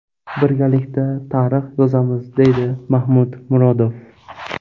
Birgalikda tarix yozamiz”, deydi Mahmud Murodov.